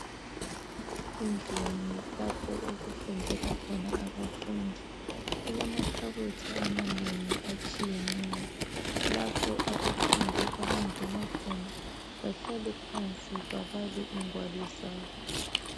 Endlini lapho okufundelwa khona abafundi kulamakhabothi amanengi atshiyeneyo lapho abafundi abangena khona bahlale phansi babale ingwalu zabo